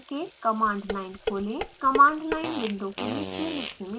command line window के निचले हिस्से में दिखाई देती है